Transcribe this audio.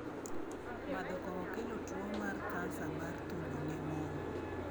Madho kong’o kelo tuwo mar kansa mar thuno ne mon